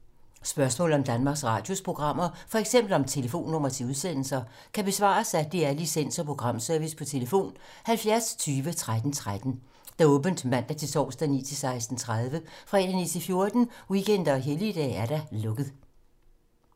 Spørgsmål om Danmarks Radios programmer, f.eks. om telefonnumre til udsendelser, kan besvares af DR Licens- og Programservice: tlf. 70 20 13 13, åbent mandag-torsdag 9.00-16.30, fredag 9.00-14.00, weekender og helligdage: lukket.